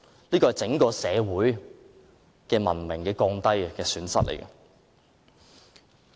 這是降低整個社會的文明，是社會的損失。